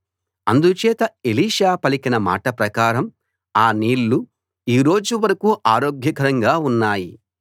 అందుచేత ఎలీషా పలికిన మాట ప్రకారం ఆ నీళ్ళు ఈ రోజు వరకూ ఆరోగ్యకరంగా ఉన్నాయి